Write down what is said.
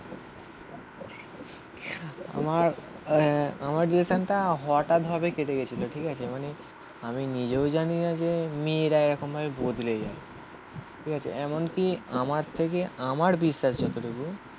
আমার আহ আমার রিলেশনটা হঠাৎ ভাবে কেটে গেছিলো ঠিক আছে মানে আমি নিজেও জানিনা যে মেয়েরা এরকম ভাবে বদলে যায় ঠিক আছে এমনকি আমার থেকে আমার বিশ্বাস যতটুকু